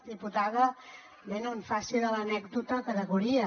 diputada bé no faci de l’anècdota categoria